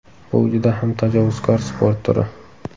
Bu juda ham tajovuzkor sport turi.